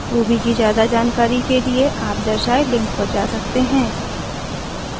ruby की ज्यादा जानकारी के लिए आप दर्शाए लिंक पर जा सकते हैं